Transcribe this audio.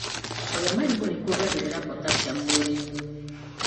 Kũrĩa marigũ nĩkuongagĩrĩra potasiamu mwĩrĩinĩ.